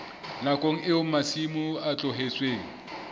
nakong eo masimo a tlohetsweng